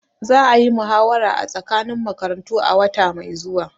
Za a yi muhawara tsakanin makarantu a wata mai zuwa.